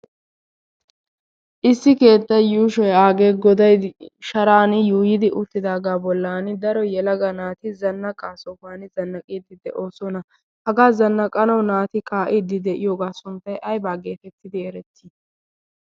issi keetta yuushoi aagee godai sharan yuuyidi uttidaagaa bollan daro yelaga naati zanna qaa sohuwan zannaqiiddi de7oosona hagaa zannaqanau naati kaa7iiddi de7iyoogaa sunttai ai baaggee fettidi erettii